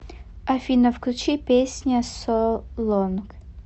афина включи песня соу лонг